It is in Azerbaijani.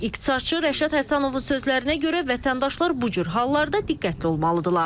İqtisadçı Rəşad Həsənovun sözlərinə görə vətəndaşlar bu cür hallarda diqqətli olmalıdırlar.